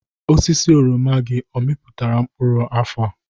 Osisi oroma gị, ọ amịpụtara mkpụrụ afọ?